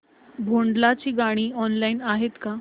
भोंडला ची गाणी ऑनलाइन आहेत का